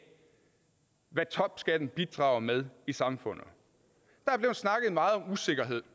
hvad topskatten bidrager med i samfundet der er blevet snakket meget om usikkerhed